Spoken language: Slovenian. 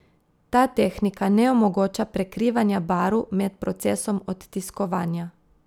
Ta tehnika ne omogoča prekrivanja barv med procesom odtiskovanja.